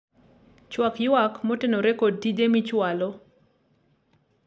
chwak ywak moterone kod tije michwalo